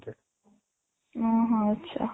ଅଂ ହଁ ଆଚ୍ଛା